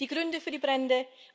Die Gründe für die Brände?